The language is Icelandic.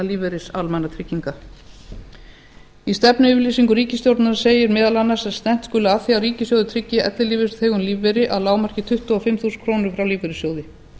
lífeyris almannatrygginga í stefnuyfirlýsingu ríkisstjórnarinnar segir meðal annars að stefnt skuli að því að ríkissjóður tryggi ellilífeyrisþegum lífeyri að lágmarki tuttugu og fimm þúsund krónur frá lífeyrissjóði